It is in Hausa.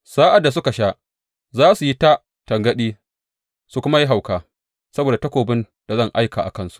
Sa’ad da suka sha, za su yi ta tangaɗi su kuma yi hauka saboda takobin da zan aika a cikinsu.